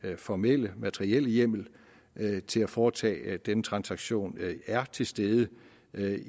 formelle materielle hjemmel til at foretage denne transaktion er til stede